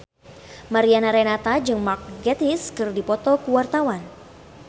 Mariana Renata jeung Mark Gatiss keur dipoto ku wartawan